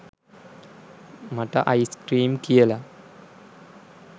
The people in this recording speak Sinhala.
මට අයිස් කීම් කියලා